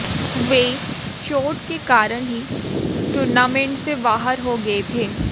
वे चोट के कारण ही टूर्नामेंट से बाहर हो गए थे